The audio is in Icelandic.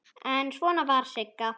En svona var Sigga.